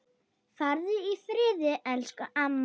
Farðu í friði elsku amma.